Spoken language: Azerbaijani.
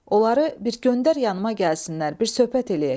Onları bir göndər yanımaa gəlsinlər, bir söhbət eləyək.